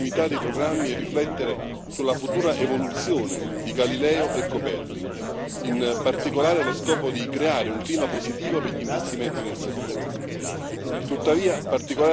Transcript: È fondamentale assicurare la continuità dei programmi e riflettere sulla futura evoluzione di Galileo e Copernico, in particolare allo scopo di creare un clima positivo per gli investimenti nel settore.